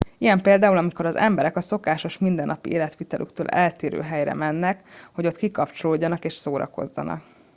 ilyen például amikor az emberek a szokásos mindennapi életvitelüktől eltérő helyre mennek hogy ott kikapcsolódjanak és szórakozzanak